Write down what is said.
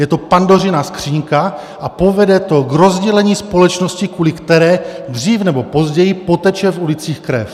Je to Pandořina skříňka a povede to k rozdělení společnosti, kvůli kterému dřív nebo později poteče v ulicích krev.